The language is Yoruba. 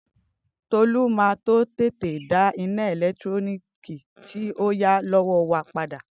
Tolu ma to tete da ina eletiriki ti o ya lowo wa pada.